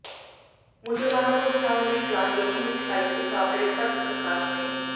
ਮੁਸਲਮਾਨਾਂ ਨੂੰ ਬਚਾਉਣ ਲਈ ਜਾਨ ਜੋਖਮ ਵਿਚ ਪਾਈ ਸੀ ਕਾਮਰੇਡ ਭਰਤ ਪ੍ਰਕਾਸ਼ ਨੇ